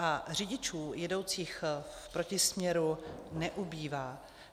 A řidičů jedoucích v protisměru neubývá.